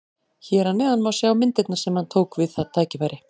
Hér að neðan má sjá myndirnar sem hann tók við það tækifæri.